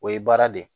O ye baara de ye